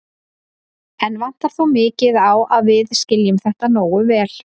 Enn vantar þó mikið á að við skiljum þetta nógu vel.